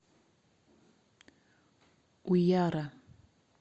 уяра